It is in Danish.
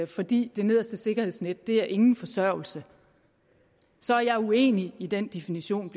fordi det nederste sikkerhedsnet er ingen forsørgelse så er jeg uenig i den definition